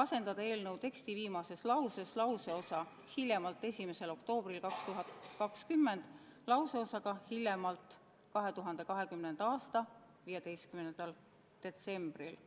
asendada eelnõu teksti viimases lauses lauseosa "hiljemalt 1. oktoobril 2020. aastal" lauseosaga "hiljemalt 2020. aasta 15. detsembril".